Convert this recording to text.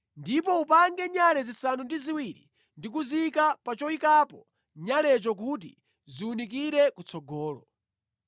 “Ndipo upange nyale zisanu ndi ziwiri ndi kuziyika pa choyikapo nyalecho kuti ziwunikire kutsogolo.